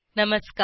नमस्कार